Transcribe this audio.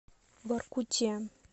воркуте